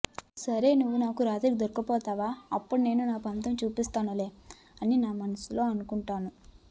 సరే నువ్వు నాకు రాత్రి దొరక్కపోవా అప్పుడు నేను నా పంతం చూపిస్తానులే అని నేను మనస్సులో అనుకుంటాను